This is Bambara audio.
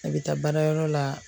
A bɛ taa baarayɔrɔ la